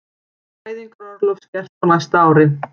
Fæðingarorlof skert á næsta ári